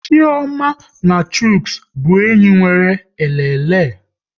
Chioma na Chuks bụ enyi nwere elele